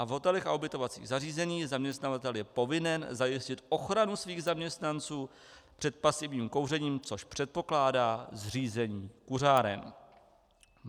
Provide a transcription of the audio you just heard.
A v hotelech a ubytovacích zařízeních zaměstnavatel je povinen zajistit ochranu svých zaměstnanců před pasivním kouřením, což předpokládá zřízení kuřáren.